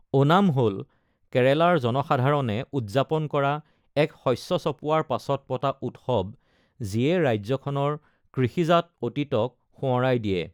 ওনাম হ'ল কেৰালাৰ জনসাধাৰণে উদযাপন কৰা এক শষ্য চপোৱাৰ পাছত পতা উৎসৱ, যিয়ে ৰাজ্যখনৰ কৃষিজাত অতীতক সোঁৱৰাই দিয়ে।